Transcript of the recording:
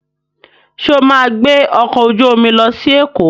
Sọ ma gbé ọkọ̀ ojú omi lọ sí Èkó?